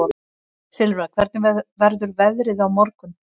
Silfra, hvernig verður veðrið á morgun?